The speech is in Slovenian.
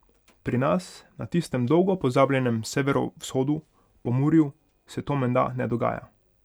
Pri nas, na tistem dolgo pozabljenem severovzhodu, Pomurju, se to menda ne dogaja.